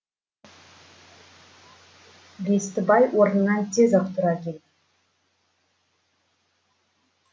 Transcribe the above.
бестібай орнынан тез ақ тұра келді